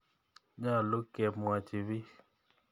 Nyalu kemwochi piik .